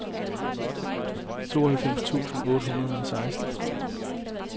tooghalvfems tusind otte hundrede og seksten